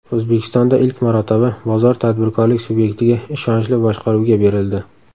O‘zbekistonda ilk marotaba bozor tadbirkorlik subyektiga ishonchli boshqaruvga berildi.